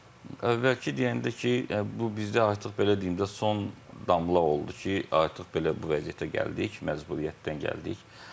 Əvvəlki deyəndə ki, bu bizdə artıq belə deyim də, son damla oldu ki, artıq belə bu vəziyyətə gəldik, məcburiyyətdən gəldik.